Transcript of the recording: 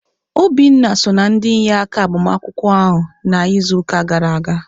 Obinna so na ndị inyeaka agbamakwụkwọ ahụ na izuka gara aga.